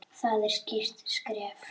Það er skýrt skref.